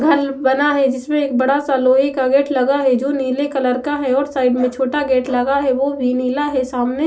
घर बना है जिसमे एक बड़ा सा लोहे का गेट लगा है जो नीले कलर का है और साइड में छोटा गेट लगा है और वो भी नीला है सामने --